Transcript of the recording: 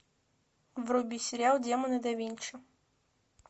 вруби сериал демоны да винчи